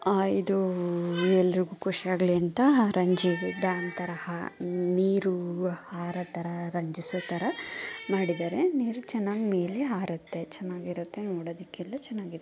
ಹಾ ಇದೂ ಎಲ್ಲರಿಗೂ ಖುಷಿ ಆಗ್ಲಿ ಅಂತ ರಂಜಿ ವಿಧಾಂತರಹ ನೀರು ಹಾರೊತರ ರಂಜಿಸುತರ ಮಾಡಿದರೆ ನೀರು ಚೆನ್ನಾಗಿ ಮೇಲೆ ಹಾರುತ್ತ ಚೆನ್ನಾಗಿ ಇರುತ್ತೆ ನೊಡುವುದಕ್ಕೆ ಎಂದು ಚೆನ್ನಾಗಿದೆ.